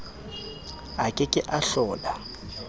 a ke ke a hlola